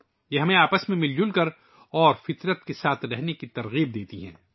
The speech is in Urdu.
وہ ہمیں ایک دوسرے کے ساتھ اور فطرت کے ساتھ ہم آہنگی کے ساتھ رہنے کی ترغیب دیتے ہیں